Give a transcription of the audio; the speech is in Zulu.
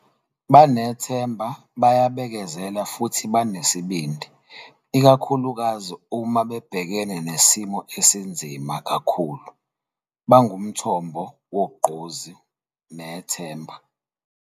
Banethemba, bayabekezela futhi banesibindi, ikakhulukazi uma bebhekene nesimo esinzima kakhulu. Bangumthombo wogqozi nethemba.